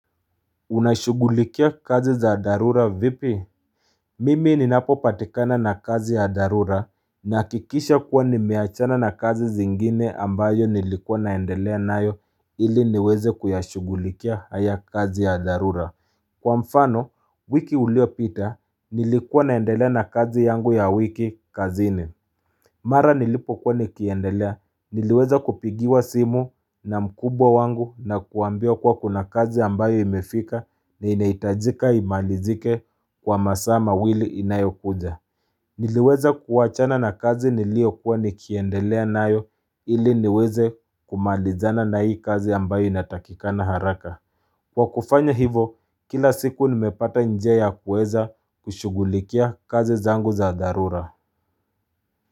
Unashugulikia kazi za darura vipi Mimi ninapo patikana na kazi ya darura nakikisha kuwa nimeachana na kazi zingine ambayo nilikuwa naendelea nayo ili niweze kuyashugulikia haya kazi ya darura Kwa mfano wiki ulio pita nilikuwa naendelea na kazi yangu ya wiki kazini Mara nilipo kuwa nikiendelea, niliweza kupigiwa simu na mkubwa wangu na kuambia kuwa kuna kazi ambayo imefika na inaitajika imalizike kwa masaa mawili inayokuja. Niliweza kuwachana na kazi nilio kuwa nikiendelea nayo ili niweze kumalizana na hii kazi ambayo inatakikana haraka. Kwa kufanya hivo, kila siku nimepata njia ya kuweza kushugulikia kazi zangu za darura.